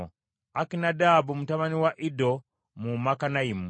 Akinadaabu mutabani wa Iddo, mu Makanayimu;